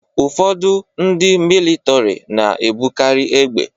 Ụfọdụ ndị militọri na-ebukarị égbè.